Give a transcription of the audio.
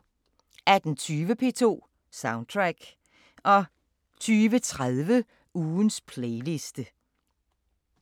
18:20: P2 Soundtrack 02:30: Ugens playliste